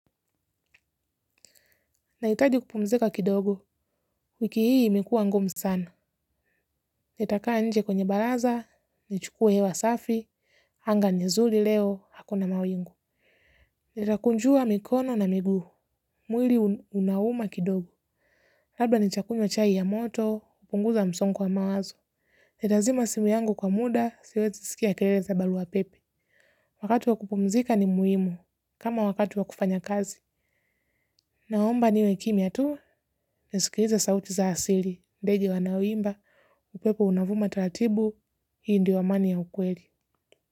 Nahitaji kupumzika kidogo, wiki hii imekuwa ngumu sana. Nitakaa nje kwenye baraza, nichukue hewa safi, anga ni zuri leo, hakuna mawingu. Nitakunjua mikono na miguu, mwili unauma kidogo. Labda nitakunywa chai ya moto, kupunguza msongo wa mawazo. Nitazima simu yangu kwa muda, siwezi sikia kelele za barua pepe. Wakati wa kupumzika ni muhimu, kama wakati wa kufanya kazi. Naomba niwe kimya tu, nisikilize sauti za asili. Ndege wanaoimba, upepo unavuma taratibu, hii ndio amani ya ukweli.